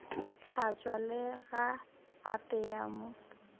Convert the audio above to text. tlhatšwa le ga apeya mo